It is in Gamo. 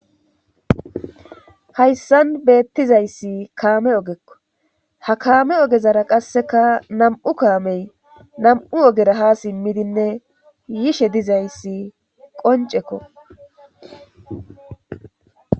hayssan beettizayssi kaame ogekko ha kaame ogezara qasseka nam7u kaamey nam7u ogera ha simmidinne yishe dizayssi qoncekko